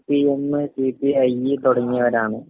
CPM, CPI തുങ്ങിയവരാണ്.